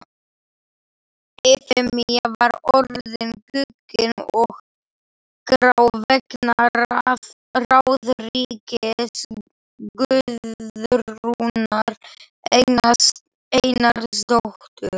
Efemía var orðin guggin og grá vegna ráðríkis Guðrúnar Einarsdóttur.